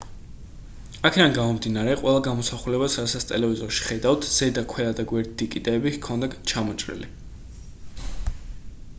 აქედან გამომდინარე ყველა გამოსახულებას რასაც ტელევიზორში ხედავთ ზედა ქვედა და გვერდითი კიდეები ჰქონდა ჩამოჭრილი